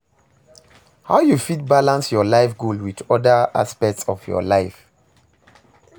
How you fit balance your life goal with oda aspects of your life?